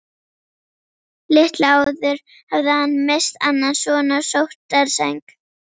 Litlu áður hafði hann misst annan son á sóttarsæng.